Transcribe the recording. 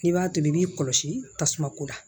N'i b'a tobi i b'i kɔlɔsi tasuma ko la